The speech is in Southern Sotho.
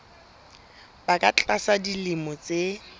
ba ka tlasa dilemo tse